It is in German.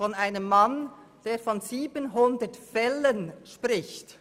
Von einem Mann, der von 700 Fällen spricht.